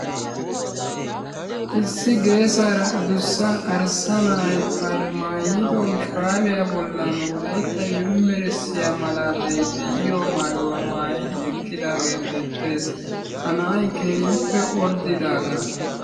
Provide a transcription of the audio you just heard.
issi geessara addussa arssa na'ay bari maayyido shurabiya bollan Wolaytta Yunbburshshiya malaltay de'iyaaga maayyidi eqqidi beettees. ha na'ay keehippe orddidaaga.